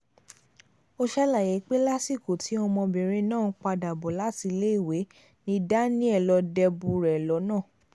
ó ṣàlàyé pé lásìkò tí ọmọbìnrin náà ń padà bọ̀ láti iléèwé ni daniel lọ́ọ́ débùú rẹ̀ lọ́nà